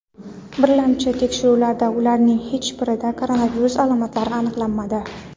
Birlamchi tekshiruvlarda ularning hech birida koronavirus alomatlari aniqlanmadi.